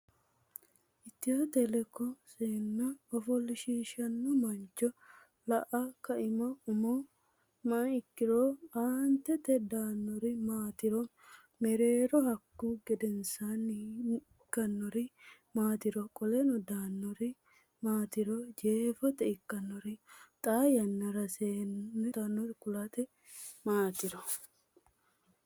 etnaa etotikkI Seenne ofoshshiishshanno mancho la a Kaima Umo may ikkinoro Aantete daannori maatiro Mereeri Hakkunni gedensaanni ikkinori maatiro Qoleno daannori maatiro Jeefote ikkinori Xaa yannara seenne ofoshshiisha agurtinota kulte maatiro.